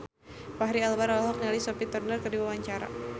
Fachri Albar olohok ningali Sophie Turner keur diwawancara